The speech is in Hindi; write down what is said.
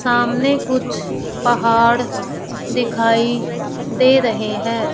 सामने कुछ पहाड़ दिखाई दे रहे हैं।